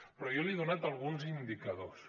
però jo li he donat alguns indicadors